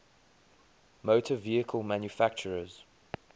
motor vehicle manufacturers